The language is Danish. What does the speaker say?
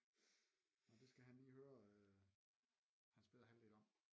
Men det skal han lige høre hans bedre halvdel om